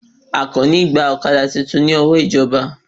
Àkàní gbà ọ̀kadà titun ní ọwọ́ ìjọba